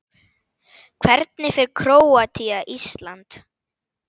Hvernig fer Króatía- Ísland?